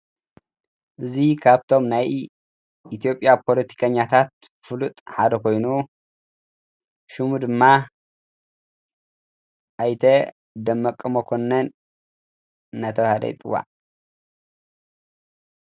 እዙይ ኻብቶም ናይ ኢቲዮጲያ ጶሎቲቀኛታት ፍሉጥ ሓደ ኮይኑ፤ ሹሙ ድማ ኣይተ ደመቀ መኮንን ነተበሃለ ይፅዎዕ።